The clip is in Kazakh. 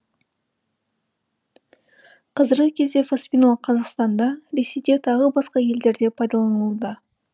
қазіргі кезде фоспинол қазақстанда ресейде тағы басқа елдерде пайдаланылуда